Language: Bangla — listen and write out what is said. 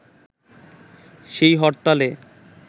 সেই হরতালে